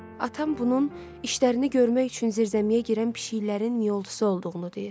Atam bunun işlərini görmək üçün zirzəmiyə girən pişiklərinin miyoltusu olduğunu deyir.